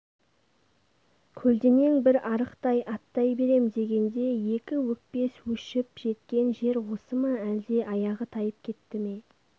көлденең бір арықтан аттай берем дегенде екі өкпес өшіп жеткен жер осы ма әлде аяғы тайып кетті ме